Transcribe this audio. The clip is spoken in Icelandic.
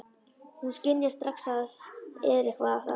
Hún skynjar strax að það er eitthvað að.